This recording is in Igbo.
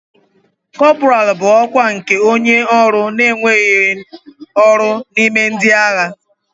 Kọpọraalụ bụ ọkwa nke onye ọrụ na-enweghị ọrụ n'ime ndị agha.